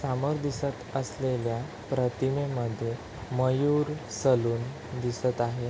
समोर दिसत असलेल्या प्रतिमेमध्ये मयूर सलून दिसत आहे.